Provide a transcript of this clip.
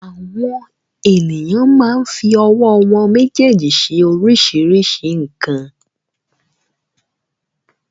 Àwọn ènìyàn máa ń fi ọwọ́ wọn méjèèjì ṣe oríṣiríṣi nǹkan.